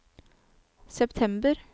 september